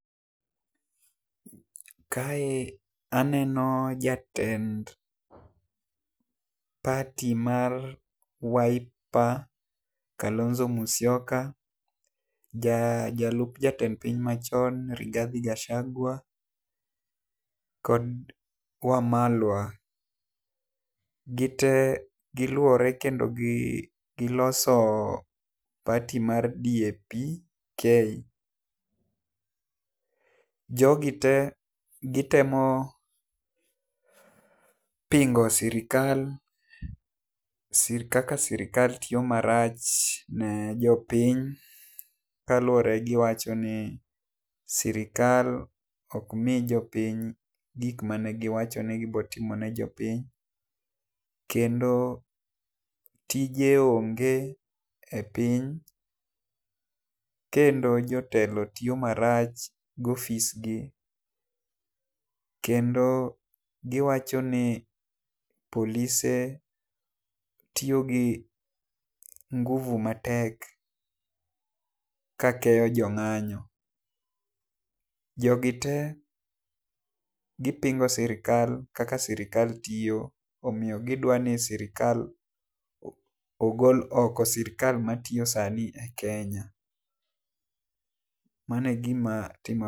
Kae aneno jatend party mar Wiper Kalonzo Musyoka , jalup jatend piny ma chon Rigathi Gchagua kod Wamalwa .Gi te gi luore kendo gi loso party mar DAP-k jo gi te gi temo pingo sirkal kaka sirkal tiyo marach ne jopiny kaluore ne gi wacho ni sirkal ok mi jopiny gik ma ne gi wacho ni gi biro timo ne jopiny kendo tije onge ne jopiny kendo jotelo tiyo marach gi ofis gi .Kendo gi wacho ni polise tiyo gi nguvu matek ka keyo jo nganyo', jo gi te gi pingo sirkal kaka sirkal tiyo omiyo gi dwaro ni sirkal ogol oko sirkal ma tiyo e Kenya. Omiyo mano e gi ma timore.